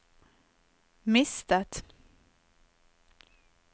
mistet